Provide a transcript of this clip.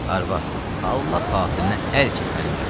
Arvad, Allah xatirinə əl çək mənim yaxamdan.